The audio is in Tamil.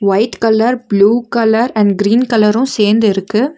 White colour blue colour and green colour சேந்திருக்கு.